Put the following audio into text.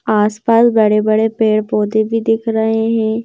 आस पास बड़े बड़े पेड़ पौधे भी दिख रहे हैं।